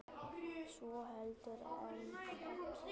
svo heldur en þegja